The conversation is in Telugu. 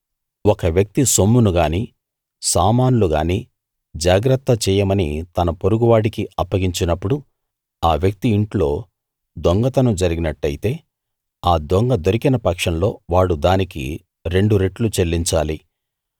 ఒక వ్యక్తి సొమ్మును గానీ సామాన్లు గానీ జాగ్రత్త చెయ్యమని తన పొరుగు వాడికి అప్పగించినప్పుడు ఆ వ్యక్తి ఇంట్లో దొంగతనం జరిగినట్టయితే ఆ దొంగ దొరికిన పక్షంలో వాడు దానికి రెండు రెట్లు చెల్లించాలి